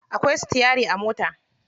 Akwai sitiyari a mota.